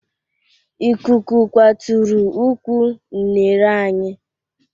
Ikuku kwaturu ụkwụ unere anyị